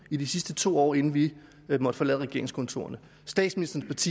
i de sidste to år inden vi måtte forlade regeringskontorerne statsministerens